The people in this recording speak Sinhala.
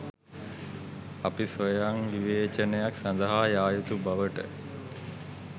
අපි ස්වයංවිවේචනයක් සඳහා යා යුතු බවට